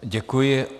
Děkuji.